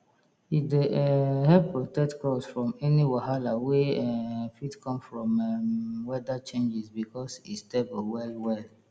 e dey um help protect crops from any wahala wey um fit come from um weather changes because e stable well well